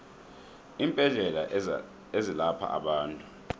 iimbedlela ezelapha abantu